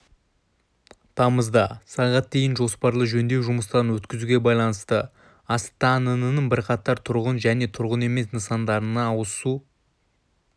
тамызда сағат дейін жоспарлы жөндеу жұмыстарын өткізуге байланысты астанының бірқатар тұрғын және тұрғын емес нысандарында ауызсу